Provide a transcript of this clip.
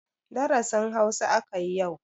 Darasin Hausa aka yi yau.